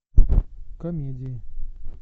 комедии